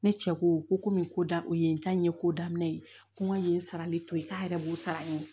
Ne cɛ ko komi ko da o ye ye ko daminɛ ye ko n ka yen sarali to ye k'a yɛrɛ b'o sara n ye